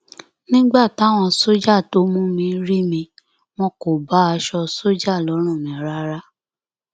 nígbà táwọn sójà tó mú mi rí mi wọn kò bá aṣọ sójà lọrùn mi rárá